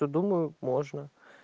то думаю можно